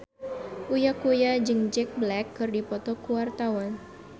Uya Kuya jeung Jack Black keur dipoto ku wartawan